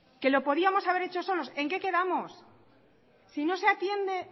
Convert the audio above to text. que lo podíamos haber hecho solos en que quedamos si no se atiende